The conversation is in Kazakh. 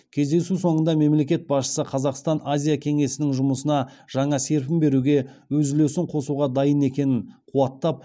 кездесу соңында мемлекет басшысы қазақстан азия кеңесінің жұмысына жаңа серпін беруге өз үлесін қосуға дайын екенін қуаттап